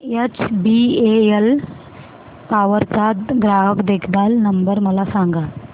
HBL power चा ग्राहक देखभाल नंबर मला सांगा